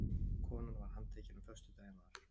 Konan var handtekin á föstudaginn var